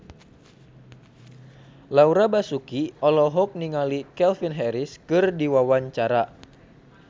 Laura Basuki olohok ningali Calvin Harris keur diwawancara